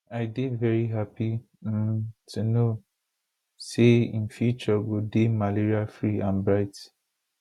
i dey veri happy um to know say im future go dey malariafree and bright